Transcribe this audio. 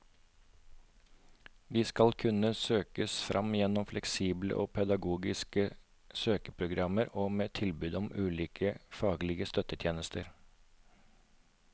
De skal kunne søkes fram gjennom fleksible og pedagogiske søkeprogrammer og med tilbud om ulike faglige støttetjenester.